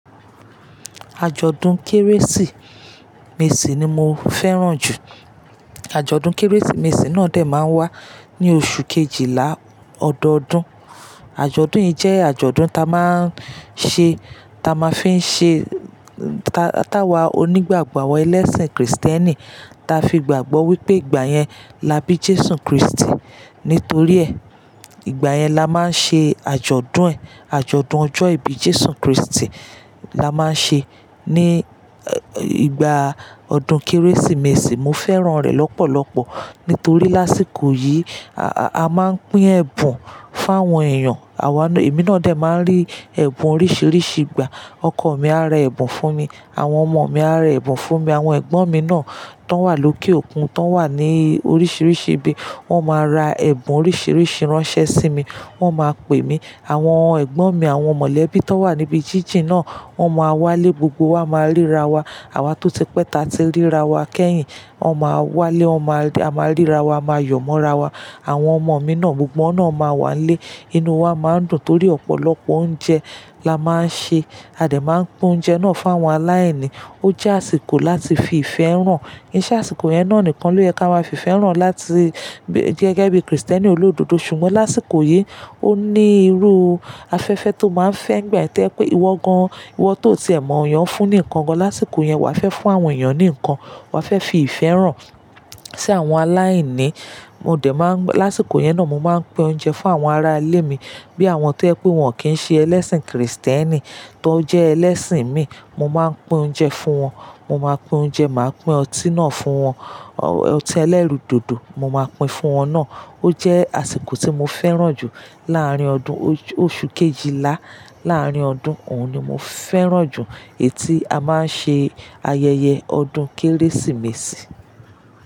Àjọ̀dún Kérésìmesì ni mo fẹ́ràn jù. Àjọ̀dún Kérésìmesì náà dè máa ń wá ní oṣù Kejìlá ọdọọdún. Àjọ̀dún yìí jẹ́ àjọ̀dún ta máa ń ṣe, ta máa fí ń ṣe, ta wa onígbàgbọ́ àwọn ẹlẹ́sìn kìrìsìtẹ́nì ta fi gbàgbọ́ wípé ìgbà yẹn la bí Jésù Kristi. Nítorí ẹ, ìgbà yẹn la máa ń ṣe àjọ̀dún ẹ̀, àjọ̀dún ọjọ́ ìbí Jésù Kristi la máa ń ṣe ní ìgbà ọdún Kérésìmesì. Mo fẹ́ràn rẹ̀ lọ́pọ̀lọpọ̀ nítorí lásìkò yìí, a máa ń pín ẹ̀bùn fún àwọn èèyàn. Èmi náà dè máa ń rí ẹ̀bùn oríṣìíríṣìí gbà. Ọkọ̀ mi á ra ẹ̀bùn fún mi. Àwọn ọmọ mi á ra ẹ̀bùn fún mi. Àwọn ẹ̀gbọ́n mi náà tó wà lókè òkun, tó wà ní oríṣìíríṣìí ibi wọ́n máa ra ẹ̀bùn oríṣìíríṣìí ránṣẹ́ sí mi. Wọ́n máa pè mí. Àwọn ẹ̀gbọ́n mi, àwọn mọ̀lẹ́bí tó wà níbi jíjìn náà wọ́n máa wá lé gbogbo wa máa ríra wa. Àwa tó ti pẹ́ ta ti ríra wa kẹ́yìn, wọn máa wá lé wọn máa rí, a máa ríra wa, a máa yọ̀ mọ́ra wa. Àwọn ọmọ mi náà gbogbo wọn náà máa wá lé. Inú wa máa ń dùn torí ọ̀pọ̀lọpọ̀ oúnjẹ la máa ń ṣe. A dè máa ń pín oúnjẹ náà fún àwọn aláìní. Ó jẹ́ àsìkò láti fi ìfẹ́ hàn. Kiṣẹ́ àsìkò yẹn náà nìkan ló yẹ ká máa fi ìfẹ́ hàn láti gẹ́gẹ́ bí kìrìsìtẹ́nì olódodo. Ṣùgbọ́n lásìkò yìí, ó ní irú afẹ́fẹ́ tó máa ń fẹ́ nigbàye to jẹ pé ìwọ gan, ìwọ tó ti ẹ mọ̀ eyán fún ni nǹkan gan. Lásìkò yẹn, wà á fẹ́ fún àwọn èèyàn ní nǹkan. Wà á fẹ́ fi ìfẹ́ hàn sí àwọn aláìní. Lásìkò yẹn náà mo máa ń pín oúnjẹ fún àwọn ará ilé mi bí àwọn tó jẹ pé wọn kì í ṣe ẹlẹ́sìn kìrìsìtẹ́nì tó jẹ́ ẹlẹ́sìn mi. Mo máa ń pín oúnjẹ fún wọn. Mo máa pín oúnjẹ, màá pín ọtí náà fún wọn. Ọtí ẹlẹ́rù dòdò, mo máa pín fún wọn náà. Ó jẹ́ àsìkò tí mo fẹ́ràn jù láàárín ọdún oṣù kejìlá láàárín ọdún. Òun ni mo fẹ́ràn jù, èyí tí a máa ń ṣe ayẹyẹ ọdún Kérésìmesì.